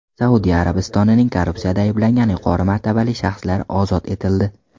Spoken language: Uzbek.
Saudiya Arabistonining korrupsiyada ayblangan yuqori martabali shaxslari ozod etildi.